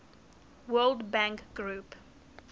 world bank group